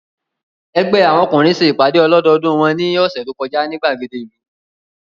Ẹgbẹ́ àwọn ọkùnrin ṣe ìpàdé ọlọ́dọọdú wọn ní ọ̀sẹ̀ tó kọjá ní ìgbàgede ìlú